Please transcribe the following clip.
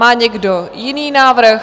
Má někdo jiný návrh?